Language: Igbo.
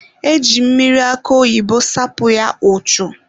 E ji mmiri akụ oyibo sapụ ya ụchụ.